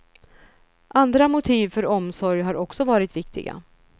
Andra motiv för omsorg har också varit viktiga.